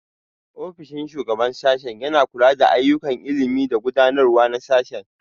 Ofishin Shugaban Sashen yana kula da ayyukan ilimi da gudanarwa na sashe.